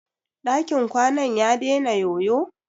Dakin kwanan ya dena yoyo?